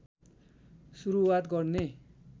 सुरूवात गर्ने